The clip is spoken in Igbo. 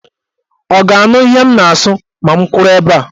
Ọ ga-anụ ihe m na-asụ ma m kwụrụ ebe a?